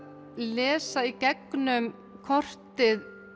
lesa í gegnum kortið